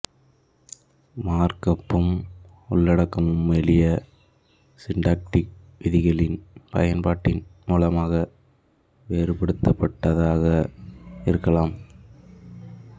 மார்க்அப்பும் உள்ளடக்கமும் எளிய சின்டாக்டிக் விதிகளின் பயன்பாட்டின் மூலமாக வேறுபடுத்தப்படுவதாக இருக்கலாம்